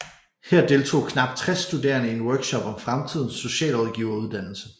Her deltog knap 60 studerende i en workshop om fremtidens socialrådgiveruddannelse